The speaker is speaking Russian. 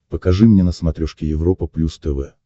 покажи мне на смотрешке европа плюс тв